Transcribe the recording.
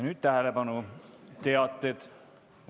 Nüüd tähelepanu, teated!